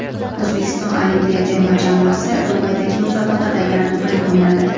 O‘zbekiston olimpiya terma jamoasi Dubaydagi musobaqada yana durang o‘ynadi .